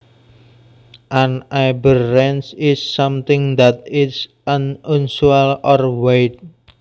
An aberrance is something that is unusual or weird